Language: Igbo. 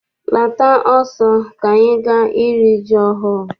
Lata ọsọ ka anyị gaa iri ji ọhụụ!